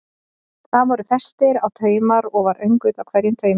Þar voru festir á taumar og var öngull á hverjum taumi.